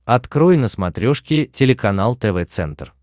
открой на смотрешке телеканал тв центр